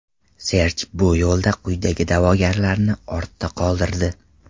Serj bu yo‘lda quyidagi da’vogarlarni ortda qoldirdi: !